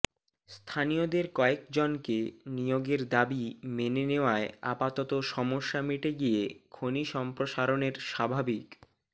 স্থানীয়দের কয়েকজনকে নিয়োগের দাবি মেনে নেওয়ায় আপাতত সমস্যা মিটে গিয়ে খনি সম্প্রসারণের স্বাভাবিক